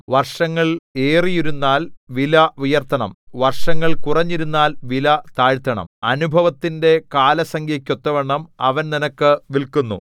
വർഷങ്ങൾ ഏറിയിരുന്നാൽ വില ഉയർത്തണം വർഷങ്ങൾ കുറഞ്ഞിരുന്നാൽ വില താഴ്ത്തണം അനുഭവത്തിന്റെ കാലസംഖ്യക്ക് ഒത്തവണ്ണം അവൻ നിനക്ക് വില്ക്കുന്നു